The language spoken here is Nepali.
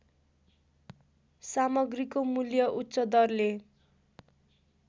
सामग्रीको मूल्य उच्चदरले